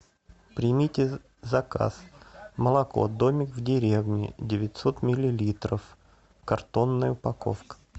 примите заказ молоко домик в деревне девятьсот миллилитров картонная упаковка